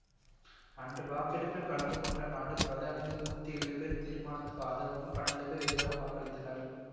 அன்று வாக்கெடுப்பில் கலந்து கொண்ட நாட்டு பிரதிநிதிகளில் நூத்தி ஏழு பேர் தீர்மானத்துக்கு ஆதரவாகவும் பன்னெண்டு பேர் எதிராகவும் வாக்களித்தனர்